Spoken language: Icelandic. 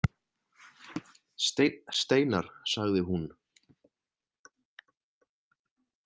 Steinn Steinarr, sagði hún.